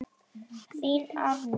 Þín, Árný.